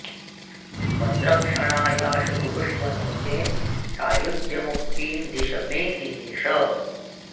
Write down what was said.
मद्रक्षणायाशु कुरुष्व नो चेत् सायुज्यमुक्तिं दिश मे दिनेश